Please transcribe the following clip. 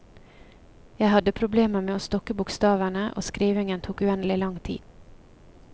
Jeg hadde problemer med å stokke bokstavene, og skrivingen tok uendelig lang tid.